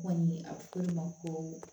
Kɔni ye a bɛ fɔ o de ma ko